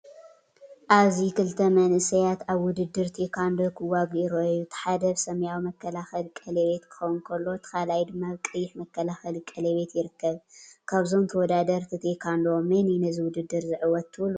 ኣብዚ ክልተ መንእሰያት ኣብ ውድድር ቴኳንዶ ክዋግኡ ይረኣዩ። እቲ ሓደ ኣብ ሰማያዊ መከላኸሊ ቀለቤት ክኸውን ከሎ እቲ ካልኣይ ድማ ኣብ ቀይሕ መከላኸሊ ቀለቤት ይርከብ። ካብዞም ተወዳደርቲ ቴኳንዶ መን እዩ ነዚ ውድድር ዝዕወት ትብሉ?